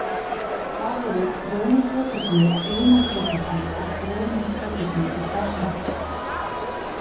Hvað eru kronotropismi, inotropismi og dromotropismi í starfsemi hjartans?